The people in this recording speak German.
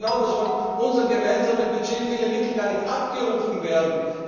Wir wissen doch genau, dass von unserem gemeinsamen Budget viele Mittel gar nicht abgerufen werden.